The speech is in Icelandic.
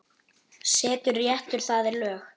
Settur réttur, það er lög.